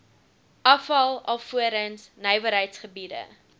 afval alvorens nywerheidsgebiede